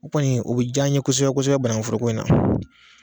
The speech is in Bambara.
O kɔni o be j'an ye kosɛbɛ kosɛbɛ bananguforoko in na